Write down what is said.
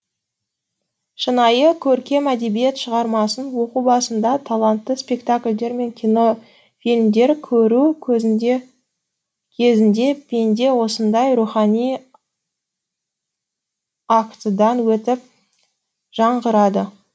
шынайы көркем әдебиет шығармасын оқу басында талантты спектакльдер мен кинофильмдер көру кезінде пенде осындай рухани актыдан өтіп жаңғырады